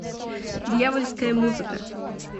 дьявольская музыка